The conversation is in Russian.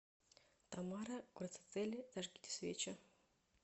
тамара гвердцители зажгите свечи